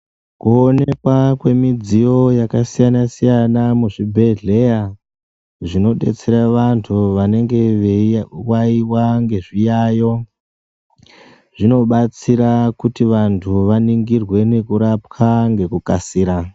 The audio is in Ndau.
Kuonekwa kwemidziyo yakasiyana-siyana muzvibhedhleya zvinobetsera vantu vanenge veiwawiwa ngezviyayo. Zvinobetsera kuti vantu vaningirwe ngekurapwa ngekukasira.